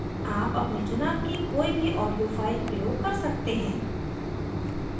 आप अपने चुनाव की कोई भी audio file प्रयोग कर सकते हैं